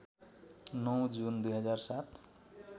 ९ जुन २००७